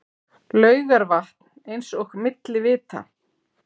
Laugarvatn eins og milli vita.